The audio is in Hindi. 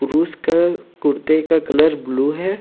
उसका कुर्ते का कलर ब्लू है।